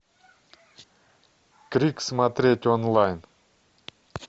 крик смотреть онлайн